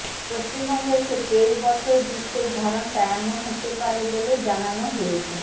পশ্চিমবঙ্গের ক্ষেত্রে এই বছর গ্রীষ্মের ধরনটা এমন হতে পারে বলেই জানানো হয়েছে